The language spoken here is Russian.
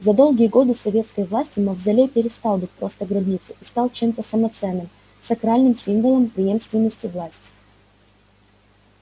за долгие годы советской власти мавзолей перестал быть просто гробницей и стал чем-то самоценным сакральным символом преемственности власти